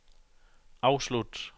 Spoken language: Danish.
afslut